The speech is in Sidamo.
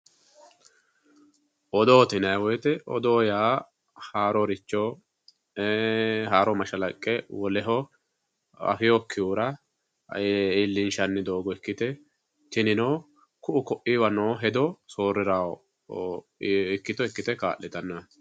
Odoote yinnanni woyte odoo haaroricho e'e haaro mashalaqqe woleho afinokkihura iillinshanni doogo ikkite tinino ku"u koiwa noo hedo soorirano ikkitto ikkite kaa'littanote.